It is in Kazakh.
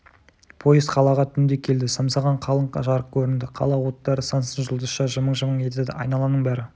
пойыз қалаға түнде келді самсаған қалың жарық көрінді қала оттары сансыз жұлдызша жымың-жымың етеді айналаның бәрі